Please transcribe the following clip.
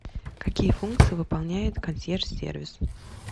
какие функции выполняет консьерж сервис